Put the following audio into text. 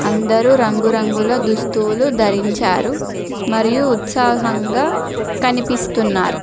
అందరూ రంగురంగుల దుస్తులు ధరించారు మరియు ఉత్సాహంగా కనిపిస్తున్నారు